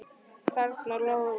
Þarna lágu mörkin.